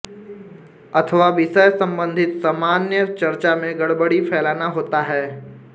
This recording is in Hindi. अथवा विषय सम्बंधित सामान्य चर्चा में गड़बड़ी फैलाना होता है